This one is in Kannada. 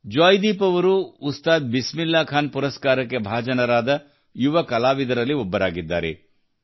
ಜೊಯಿದೀಪ್ ಅವರು ಉಸ್ತಾದ್ ಬಿಸ್ಮಿಲ್ಲಾ ಖಾನ್ ಪುರಸ್ಕಾರಕ್ಕೆ ಭಾಜನರಾದ ಯುವ ಕಲಾವಿದರಲ್ಲಿ ಒಬ್ಬರಾಗಿದ್ದಾರೆ